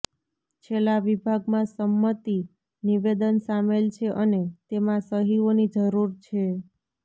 છેલ્લા વિભાગમાં સંમતિ નિવેદન સામેલ છે અને તેમાં સહીઓની જરૂર છે